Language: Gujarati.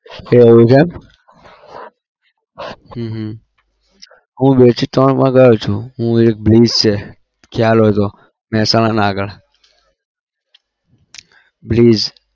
એવું છે એમ હમ હમ હું બે થી ત્રણ વાર ગયો છુ Bliss છે ખ્યાલ હોય તો મહેસાણાના આગળ Bliss